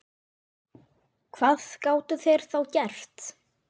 Hvað gátu þeir þá gert?